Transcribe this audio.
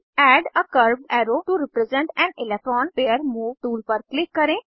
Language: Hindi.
add a curved arrow to represent an electron pair move tool पर क्लिक करें